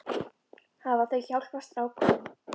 Hafa þau hjálpað strákunum?